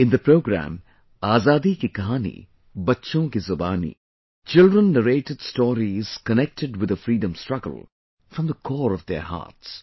In the programme, 'Azadi Ki Kahani Bachchon Ki Zubani', children narrated stories connected with the Freedom Struggle from the core of their hearts